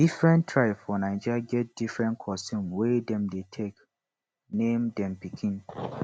different tribe for naija get different custom wey dem dey take name dem pikin